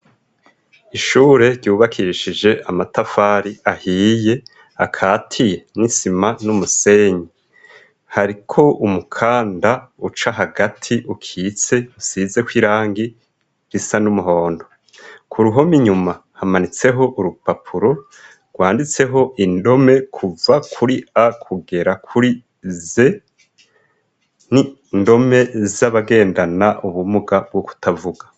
Ishure ryubakishije amatafari ahiye akatiye n'isima n'umusenyi hariko umukanda uca hagati ukitse usizeko irangi risa n'umuhondo ku ruhome inyuma hamanitseho urupapuro rwanditseho indome kuva kuri a kugera kuri ze ni ndome z'abagendana ubumuga bwo kutavuga.